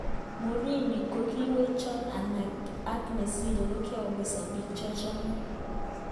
"Murini kokiwechon ane ak nesire kokikoumisan bik cheochome."